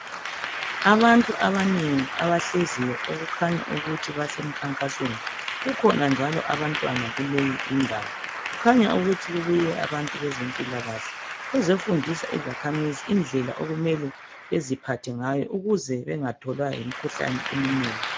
Abantu abanengi abahleziyo okukhanya ukuthi basemkhankasweni kukhona njalo abantwana kuleyi indawo kukhanya ukuthi kubuye abantu bezempilakahle bezefundisa izakhamizi indlela okumele beziphathengayo ukuze bengatholwa yimikhuhlane eminengi